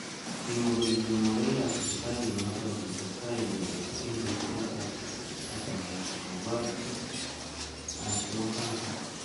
Kimwa kole chemogeik ab sipitalit notok kokitestai icheket eng chorset ak mait kobwat bik ab kimosatak.